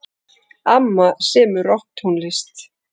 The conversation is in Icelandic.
Amma semur rokktónlist.